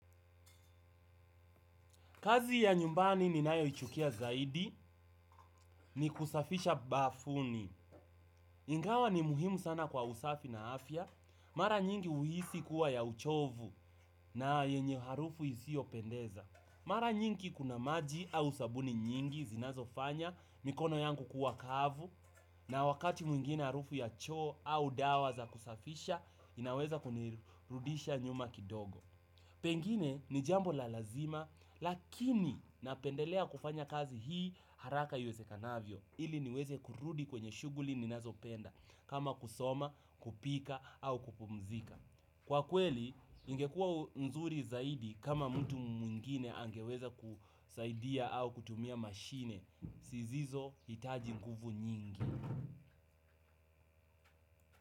Kazi ya nyumbani ninayoichukia zaidi ni kusafisha bafuni. Ingawa ni muhimu sana kwa usafi na afya. Mara nyingi uhisi kuwa ya uchovu na yenye harufu isio pendeza. Mara nyingi kuna maji au sabuni nyingi zinazo fanya mikono yangu kuwa kavu na wakati mwingine harufu ya choo au dawa za kusafisha inaweza kunirudisha nyuma kidogo. Pengine ni jambo la lazima lakini napendelea kufanya kazi hii haraka iwwezekanavyo. Ili niweze kurudi kwenye shuguli ninazo penda kama kusoma, kupika au kupumzika. Kwa kweli ingekuwa nzuri zaidi kama mtu mwingine angeweza kusaidia au kutumia mashine zisizo itaji nguvu nyingi.